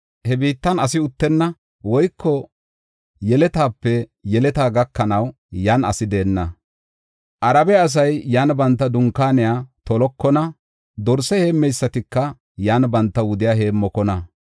He biittan asi uttenna; woyko yeletaape yeletaa gakanaw yan asi deenna. Arabe asay yan banta dunkaaniya tolokona; dorse heemmeysatika yan banta wudiya heemmokona.